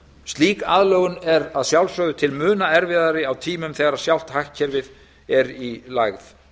slík aðlögun er að sjálfsögðu til muna erfiðari á tímum þegar sjálft hagkerfið er í lægð